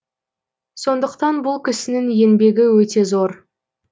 сондықтан бұл кісінің еңбегі өте зор